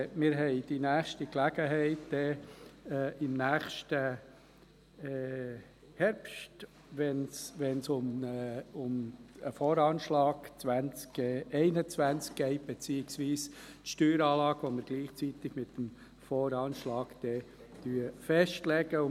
Wir haben die nächste Gelegenheit im nächsten Herbst, wenn es um den VA 2021 geht, beziehungsweise um die Steueranlage, die wir gleichzeitig mit dem VA festlegen werden.